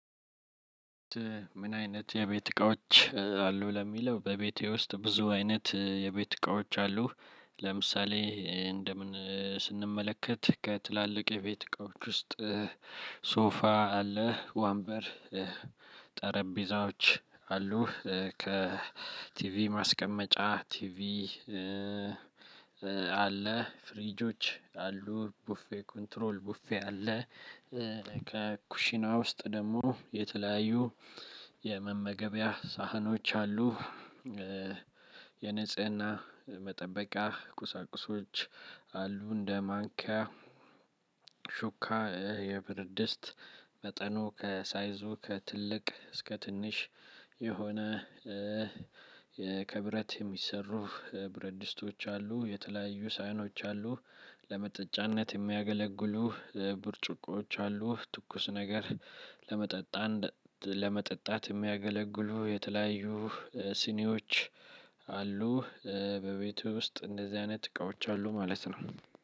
ምን? አይነት የቤት እቃዎች አሉ ለሚለው በቤቴ ውስጥ ብዙ አይነት የቤት እቃዎች አሉ። ለምሳሌ እንደ ምን ስንመለከት ከትላልቅ የቤት እቃዎች ውስጥ። ሶፋ አለ ወንበር ጠረጴዛዎች አሉ ከቲቪ ማስቀመጫ ቲቪ። አለ ፍሪጆች አሉ ቡፌ ኮንትሮል ቡፌ አለ። ከ ኩሽና ውስጥ ደግሞ የተለያዩ የመመገቢያ ሳህኖች አሉ። የንጽህና መጠበቂያ ቁሳቁሶች አሉ። እንደ ማንኪያ ሹካ የብርድስት መጠኑ ከሳይዞ ከትልቅ እስከ ትንሽ። የሆነ የከ ብረት የሚሰሩ ብረድስቶች አሉ። የተለያዩ ሳይኖች አሉ። ለመጠጫነት የሚያገለግሉ ብርጭቆዎች አሉ። ትኩስ ነገር ለመጠጣት ለመጠጣት የሚያገለግሉ የተለያዩ ሲኒዎች አሉ። በቤቴ ውስጥ አንደዚህ አይነት ስራወች አሉ ማለት ነው።